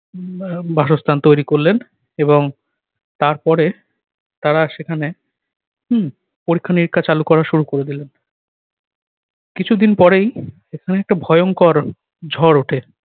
উম আহ বাসস্থান তৈরি করলেন এবং তারপরে তারা সেখানে, হুম পরীক্ষা-নিরীক্ষা চালু করা শুরু করে দিলেন। কিছুদিন পরেই এখানে একটা ভয়ংকর ঝড় ওঠে।